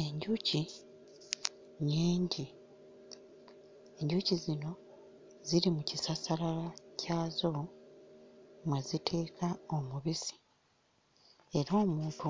Enjuki nnyingi. Enjuki zino ziri mu kisassalala kyazo mwe ziteeka omubisi era omuntu